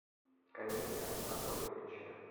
камиля анатольевича